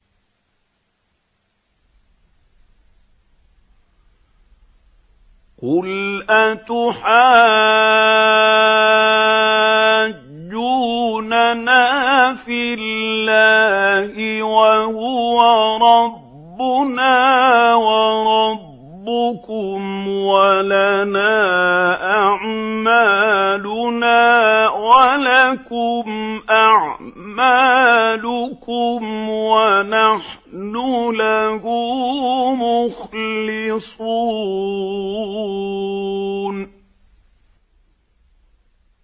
قُلْ أَتُحَاجُّونَنَا فِي اللَّهِ وَهُوَ رَبُّنَا وَرَبُّكُمْ وَلَنَا أَعْمَالُنَا وَلَكُمْ أَعْمَالُكُمْ وَنَحْنُ لَهُ مُخْلِصُونَ